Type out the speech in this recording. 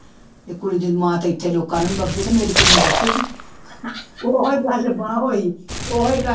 ਕੁੜੀ ਦੀ ਮਾਂ ਤੇ ਇੱਥੇ ਲੋਕਾਂ ਨੂੰ ਨੀ ਬਖ਼ਸਦੀ ਤੇ ਮੇਰੀ ਕੁੜੀ ਨੂੰ ਬਖ਼ਸੇਗੀ ਉਹੀ ਗੱਲ ਹੋਈ, ਉਹੀ ਗੱਲ